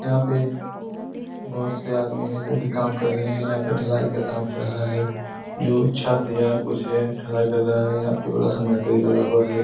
यहाँ पे बोहत से आदमी है यहाँ पे जो की काम कर रहे हैं। यहाँ पे ढलाई का कम हो रहा है जो छत या कुछ है। यहाँ ढलाई कर रहा है यहाँ पे बड़ा सा मरकरी लगा हुआ है।